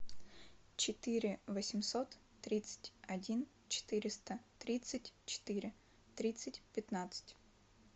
четыре восемьсот тридцать один четыреста тридцать четыре тридцать пятнадцать